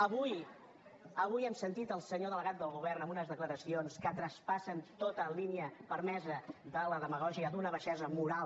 avui hem sentit el senyor delegat del govern en unes declaracions que traspassen tota línia permesa de la demagògia d’una baixesa moral